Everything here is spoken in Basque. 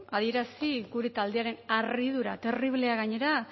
adierazi gure taldearen harridura terriblea gainera